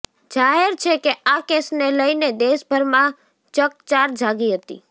જાહેર છેકે આ કેસને લઈને દેશભરમાં ચકચાર જાગી હતી